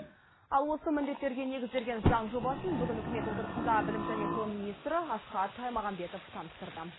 ал осы міндеттерге негізделген заң жобасын бүгін үкімет отырысында білім және ғылым министрі асхат аймағамбетов таныстырды